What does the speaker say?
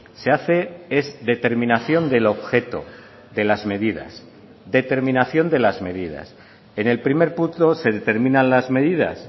se hace es determinación del objeto de las medidas determinación de las medidas en el primer punto se determinan las medidas